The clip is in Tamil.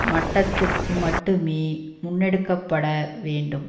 மட்டத்திற்கு மட்டுமே முன்னெடுக்க பட வேண்டும்